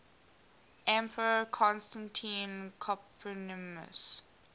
emperor constantine copronymus